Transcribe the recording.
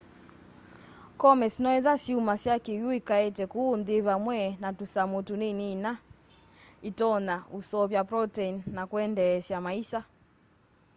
comets noetha syumasya kiwu ikaete kuu nthi vamwe na tusamu tunini ina itonya useuvya protein na kuendeesya maisa